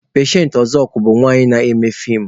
Pechensị Ọzọkwọr bụ nwanyị na-eme fiim.